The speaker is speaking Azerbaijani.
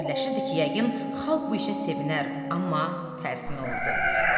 Fikirləşirdi ki, yəqin xalq bu işə sevinər, amma tərsinə oldu.